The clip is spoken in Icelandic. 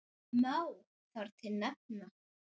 Má þar til nefna